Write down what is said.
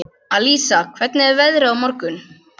Alísa, hvernig er veðrið á morgun?